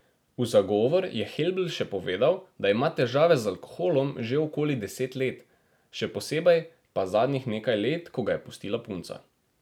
V zagovor je Helbl še povedal, da ima težave z alkoholom že okoli deset let, še posebej pa zadnjih nekaj let, ko ga je pustila punca.